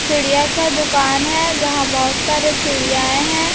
चिड़िया का दुकान है यहां बहुत सारे चिड़ियाए हैं।